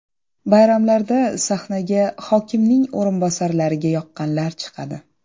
Bayramlarda sahnaga hokimning o‘rinbosarlariga yoqqanlar chiqadi.